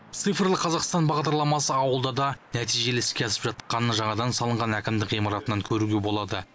цифрлы қазақстан бағдарламасы ауылда да нәтижелі іске асып жатқанын жаңадан салынған әкімдік ғимаратынан көруге болады